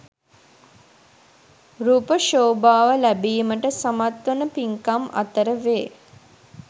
රූප ශෝභාව ලැබීමට සමත් වන පින්කම් අතර වේ.